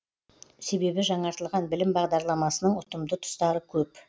себебі жаңартылған білім бағдарламасының ұтымды тұстары көп